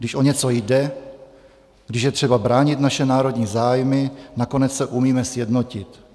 Když o něco jde, když je třeba bránit naše národní zájmy, nakonec se umíme sjednotit.